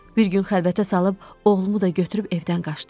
Bir gün xəlvətə salıb, oğlumu da götürüb evdən qaçdım.